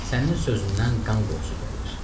Sənin sözündən qan qoxusu gəlir.